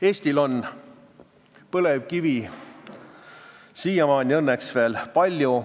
Eestil on põlevkivi õnneks veel palju.